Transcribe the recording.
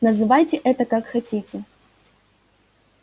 называйте это как хотите